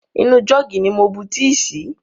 Inú jọ́ọ̀gì ni mo bu tíì sí.